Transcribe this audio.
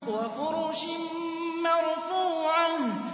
وَفُرُشٍ مَّرْفُوعَةٍ